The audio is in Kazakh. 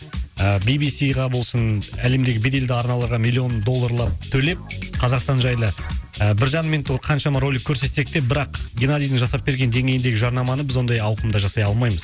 ыыы би би си ға болсын әлемдегі беделді арналарға миллион долларлар төлеп қазақстан жайлы ы бір жарым минуттық қаншама ролик көрсетсек те бірақ геннадийдің жасап берген деңгейіндегі жарнаманы біз ондай ауқымда жасай алмаймыз